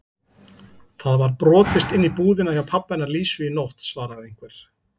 Það var brotist inn í búðina hjá pabba hennar Lísu í nótt svaraði einhver.